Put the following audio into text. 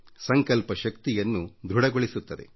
ಸಂಕಲ್ಪ ಶಕ್ತಿಯನ್ನು ದೃಢಗೊಳಿಸುತ್ತದೆ